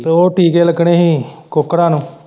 ਉਹ ਟੀਕੇ ਲੱਗਣੇ ਹੀ ਕੁੱਕੜਾਂ ਨੂੰ।